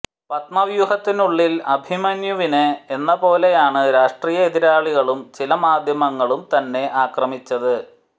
പത്മവ്യൂഹത്തിനുള്ളിൽ അഭിമന്യുവിനെ എന്ന പോലെയാണ് രാഷ്ട്രീയ എതിരാളികളും ചില മാധ്യമങ്ങളും തന്നെ അക്രമിച്ചത്